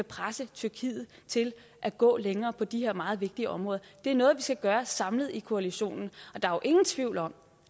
presse tyrkiet til at gå længere på de her meget vigtige områder det er noget vi skal gøre samlet i koalitionen og der er jo ingen tvivl om